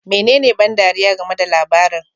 Menene ban ɗariya game da labarin?